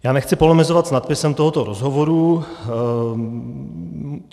Já nechci polemizovat s nadpisem tohoto rozhovoru.